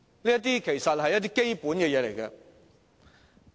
這些其實都只是基本的工作。